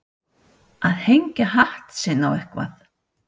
Að hengja hatt sinn á eitthvað